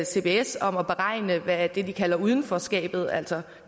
cbs om at beregne hvad det de kalder udenforskabet altså